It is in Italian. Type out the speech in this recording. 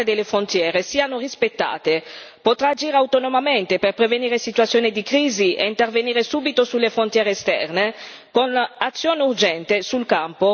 Potrà agire autonomamente per prevenire situazioni di crisi e intervenire subito sulle frontiere esterne con un'azione urgente sul campo in aiuto dello Stato membro.